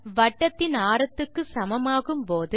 வட்டத்தின் ஆரத்துக்கு சமமாகும் போது